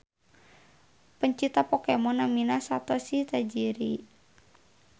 Pencipta Pokemon namina Satoshi Tajiri.